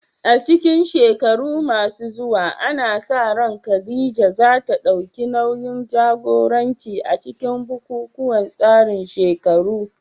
A cikin shekaru masu zuwa, ana sa ran Khadija za ta dauki nauyin jagoranci a cikin bukukuwan tsarin shekaru